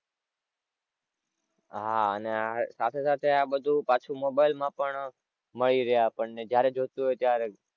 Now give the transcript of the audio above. હાં અને સાથે સાથે આ બધું પાછું mobile માં પણ મળી રહે આપણને જ્યારે જોઈતું હોય ત્યારે.